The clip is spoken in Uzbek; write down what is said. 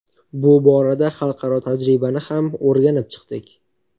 Bu borada xalqaro tajribani ham o‘rganib chiqdik.